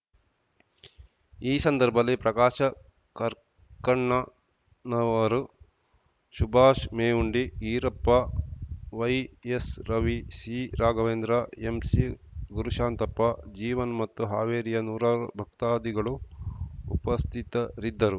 ಈ ಸಂದರ್ಭದಲ್ಲಿ ಪ್ರಕಾಶ ಕರ್ಕಣ್ಣನವರು ಸುಭಾಷ್‌ ಮೇವುಂಡಿ ಈರಪ್ಪ ವೈಎಸ್‌ರವಿ ಸಿರಾಘವೇಂದ್ರ ಎಂಸಿಗುರುಶಾಂತಪ್ಪ ಜೀವನ್‌ ಮತ್ತು ಹಾವೇರಿಯ ನೂರಾರು ಭಕ್ತಾದಿಗಳು ಉಪಸ್ಥಿತರಿದ್ದರು